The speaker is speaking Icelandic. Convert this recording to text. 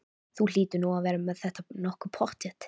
Þú hlýtur nú að vera með þetta nokkuð pottþétt?